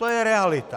To je realita.